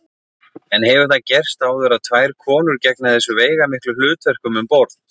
En hefur það gerst áður að tvær konur gegna þessu veigamiklu hlutverkum um borð?